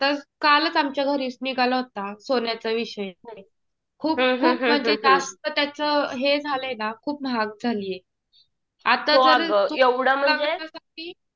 आता कालच आमच्या घरी निघाला होता सोन्याचा विषय. खूप खूप म्हणजे जास्त त्याच हे झालंय ना. खूप महाग झालंय. आता जरी तु लग्नासाठी